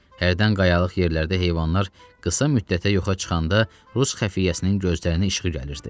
Hərdən qayalıq yerlərdə heyvanlar qısa müddətə yoxa çıxanda, Rus xəfiyyəsinin gözlərinin işığı gəlirdi.